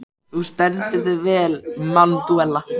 Þú stendur þig vel, Manúella!